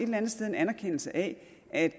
at